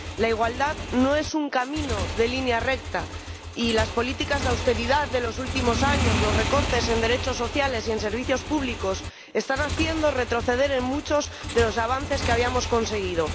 La igualdad no es un camino de línea recta y las políticas de austeridad de los últimos años, los recortes en derechos sociales y en servicios públicos están haciendo retroceder en muchos de los avances que habíamos conseguido.